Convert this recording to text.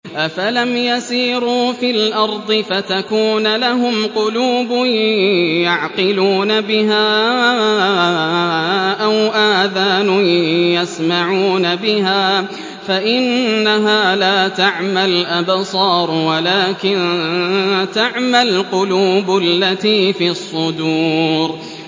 أَفَلَمْ يَسِيرُوا فِي الْأَرْضِ فَتَكُونَ لَهُمْ قُلُوبٌ يَعْقِلُونَ بِهَا أَوْ آذَانٌ يَسْمَعُونَ بِهَا ۖ فَإِنَّهَا لَا تَعْمَى الْأَبْصَارُ وَلَٰكِن تَعْمَى الْقُلُوبُ الَّتِي فِي الصُّدُورِ